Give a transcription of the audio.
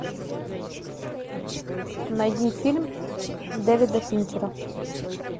найди фильм дэвида финчера